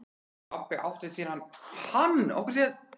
Pabbi átti sér þann draum að verða heimsfrægur ljósmyndari.